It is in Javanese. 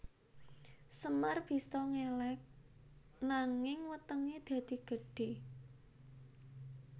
Semar bisa ngeleg nanging wetenge dadi gedhe